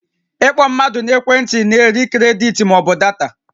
Ị kpọ mmadụ n'ekwe ntị na-eri kredit ma ọ bụ data